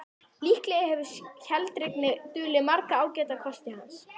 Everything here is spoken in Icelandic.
Líklega hefur hlédrægni dulið marga ágæta kosti hans.